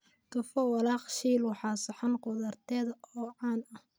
Tofu walaaq-shiil waa saxan khudradeed oo caan ah.